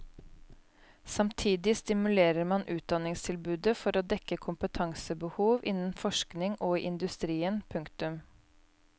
Samtidig stimulerer man utdanningstilbudet for å dekke kompetansebehov innen forskning og i industrien. punktum